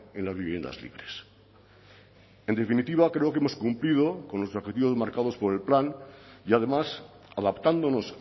en las viviendas libres en definitiva creo que hemos cumplido con los objetivos marcados por el plan y además adaptándonos